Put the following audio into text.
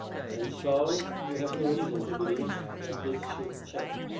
And so we have no reason to believe that this should change.